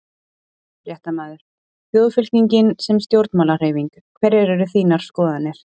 Fréttamaður: Þjóðfylkingin sem stjórnmálahreyfing, hverjar eru þínar skoðanir?